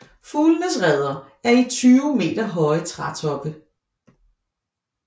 Fuglenes reder er i 20 meter høje trætoppe